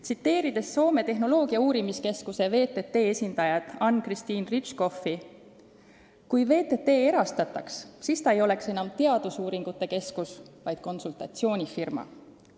Tsiteerin siin Soome tehnoloogiakeskuse VTT esindajat Anne-Christine Ritschkoffi: "Kui VTT erastataks, siis ta ei oleks enam teadusuuringute keskus, vaid konsultatsioonifirma.